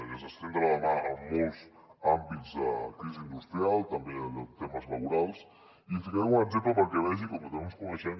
des d’estendre la mà en molts àmbits de la crisi industrial també en temes laborals i li posaré algun un exemple perquè vegi com que no ens coneixem